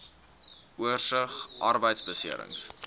oorsig arbeidbeserings